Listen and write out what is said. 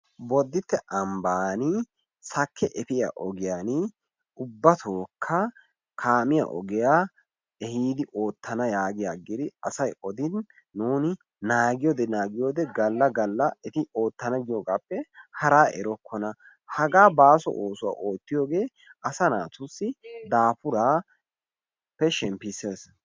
Boditte ambban sakke efiya ogiyaani ubbatookka kaamiya ogiyaa oottana yaagi yaagidi asay odin nuuni naagiyoode naagiyoode gala gala eti oottana giyoogaappe haraa erokkona. hagaa baaso oosuwa oottiyoogee asaa naata daafuraappe shemppisees.